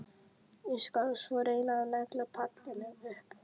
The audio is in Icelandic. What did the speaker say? Ég skal svo reyna að negla pallinn upp.